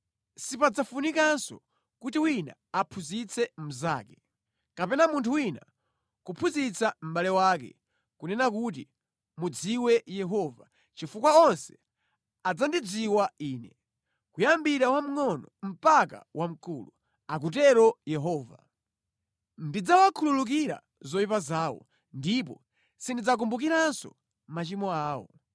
Sipadzafunikanso kuti wina aphunzitse mnzake, kapena munthu wina kuphunzitsa mʼbale wake, kunena kuti, ‘Mudziwe Yehova,’ chifukwa onse adzandidziwa Ine, kuyambira wamngʼono mpaka wamkulu,” akutero Yehova. “Ndidzawakhululukira zoyipa zawo ndipo sindidzakumbukiranso machimo awo.”